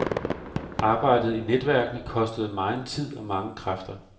Arbejdet i netværkene kostede megen tid og mange kræfter.